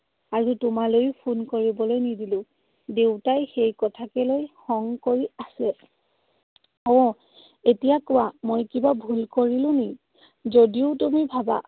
আৰু তোমালৈ phone কৰিবলৈ নিদিলো। দেউতাই সেই কথাকে লৈ খং কৰি আছে। আৰু এতিয়া কোৱা, মই কিবা ভুল কৰিলো নি? যদিও তুমি ভাবা